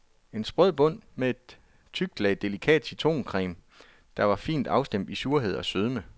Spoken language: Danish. En sprød bund med et tykt lag delikat citroncreme, der var fint afstemt i surhed og sødme.